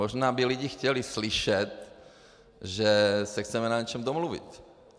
Možná by lidé chtěli slyšet, že se chceme na něčem domluvit.